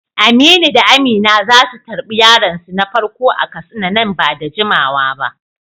Aminu da Amina za su tarbi yaronsu na farko a Katsina nan ba da jimawa ba.